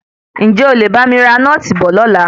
Ǹjé o lè bá mi ra nóòtì bọ̀ lọ́la?